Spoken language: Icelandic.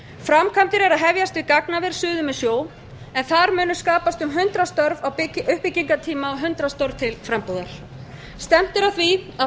framkvæmdir eru að hefjast við gagnaver suður með sjó en þar munu skapast um hundrað störf á uppbyggingartíma og hundrað störf til frambúðar stefnt er að því að